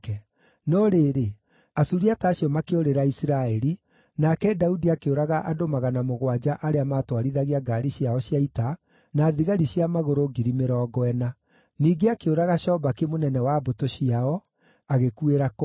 No rĩrĩ, Asuriata acio makĩũrĩra Isiraeli, nake Daudi akĩũraga andũ magana mũgwanja arĩa maatwarithagia ngaari ciao cia ita, na thigari cia magũrũ ngiri mĩrongo ĩna. Ningĩ akĩũraga Shobaki mũnene wa mbũtũ ciao, agĩkuĩra kũu.